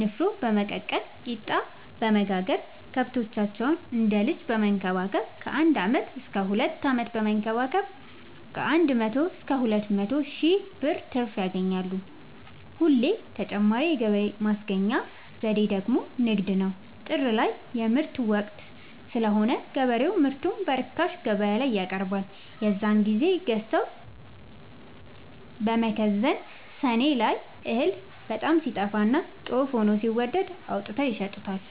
ንፋኖ በመቀቀል ቂጣበወጋገር ከብቶቻቸውን እንደ ልጅ በመከባከብ ከአንድ አመት እስከ ሁለት አመት በመንከባከብ ከአንድ መቶ እስከ ሁለት መቶ ሺ ብር ትርፍ ያገኛሉ። ሌላ ተጨማሪ የገቢ ማስገኛ ዘዴ ደግሞ ንግድ ነው። ጥር ላይ የምርት ወቅት ስለሆነ ገበሬው ምርቱን በርካሽ ገበያላይ ያቀርባል። የዛን ግዜ ገዝተው በመከዘን ሰኔ ላይ እህል በጣም ሲጠፋና ጦፍ ሆኖ ሲወደድ አውጥተው ይሸጡታል።